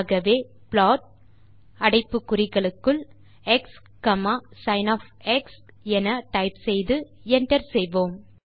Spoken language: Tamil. ஆகவே ப்ளாட் அடைப்பு குறிகளுக்குள் x comma sin of x என டைப் செய்து Enter செய்வோம்